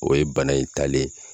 O ye bana in taalen ye.